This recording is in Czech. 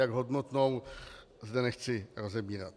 Jak hodnotnou, zde nechci rozebírat.